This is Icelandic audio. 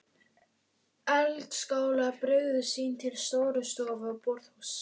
Eldaskálar byrgðu sýn til Stórustofu og borðhúss.